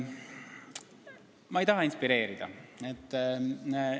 Ma ei taha ebamääraselt vastata.